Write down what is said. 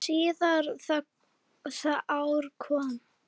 Síðar það ár kom